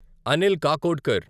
Anil Kakodkar